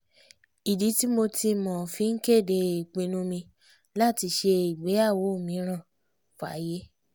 ìdí tí mo tí mo fi ń kéde ìpinnu mi láti ṣe ìgbéyàwó mìíràn fáyé